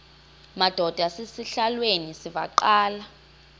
madod asesihialweni sivaqal